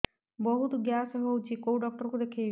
ବହୁତ ଗ୍ୟାସ ହଉଛି କୋଉ ଡକ୍ଟର କୁ ଦେଖେଇବି